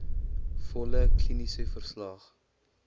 volle kliniese verslag